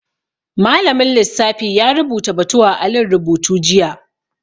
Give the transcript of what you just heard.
Malamin lissafi ya rubuta batu a alin rubutu jiya